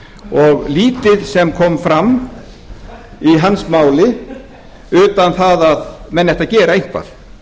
og lítið sem kom fram í hans máli utan það að menn ættu að gera eitthvað